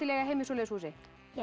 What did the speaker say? eiga heima í svoleiðis húsi